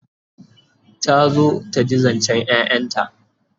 ta zo taji zancen ƴaƴanta